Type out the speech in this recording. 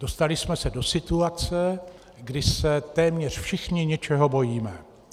Dostali jsme se do situace, kdy se téměř všichni něčeho bojíme.